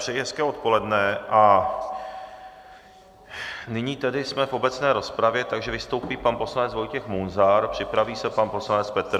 Přeji hezké odpoledne a nyní tedy jsme v obecné rozpravě, takže vystoupí pan poslanec Vojtěch Munzar, připraví se pan poslanec Petr...